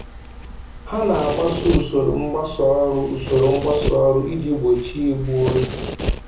Ha na-agbaso usoro mgbasa ọrụ usoro mgbasa ọrụ iji gbochie igbu oge